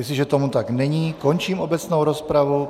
Jestliže tomu tak není, končím obecnou rozpravu.